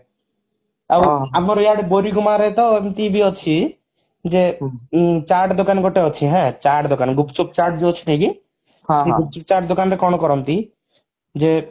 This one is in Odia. ଆଉ ଆମର ଇଆଡେ ବରିଗୁମାରେ ତ ଏମିତି ବି ଅଛି ଯେ ଚାଟ ଦୋକାନ ଗୋଟେ ଅଛି ହାଁ ଚାଟ ଦୋକାନ ଗୁପଚୁପ ଚାଟ ଯଉ ଅଛି ନାହିଁକି ସେଇ ଗୁପଚୁପ ଚାଟ ଦୋକାନରେ କଣ କରନ୍ତି ଯେ